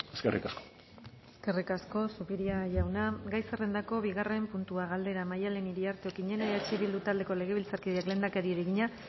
eskerrik asko eskerrik asko zupiria jauna gai zerrendako bigarren puntua galdera maialen iriarte okiñena eh bildu taldeko legebiltzarkideak lehendakariari egina